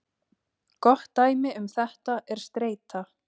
Gott dæmi um þetta er streita.